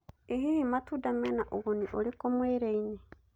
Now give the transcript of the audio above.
ĩ hihi matũnda mena ũnguni ũrĩkũ mwĩrĩ-inĩ